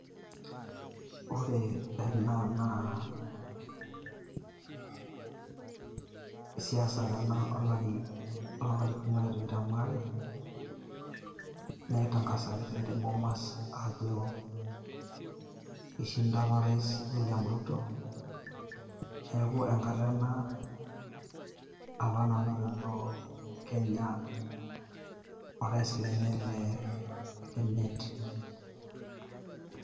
Ore ena naa, siasa apa ena olari lonkalifuni are otikitam aare, naitankasaki te Bomas ajo ishinda apa o rais William Ruto. Neeku enkata ena apa nanotito Kenya o rais lenye lemiet.